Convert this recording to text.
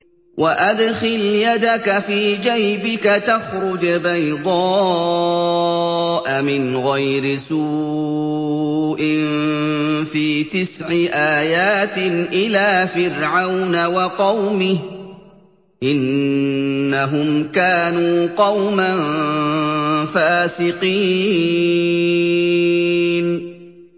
وَأَدْخِلْ يَدَكَ فِي جَيْبِكَ تَخْرُجْ بَيْضَاءَ مِنْ غَيْرِ سُوءٍ ۖ فِي تِسْعِ آيَاتٍ إِلَىٰ فِرْعَوْنَ وَقَوْمِهِ ۚ إِنَّهُمْ كَانُوا قَوْمًا فَاسِقِينَ